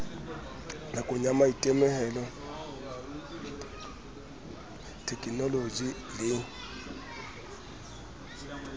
kahong ya maitemohelo thekenoloje le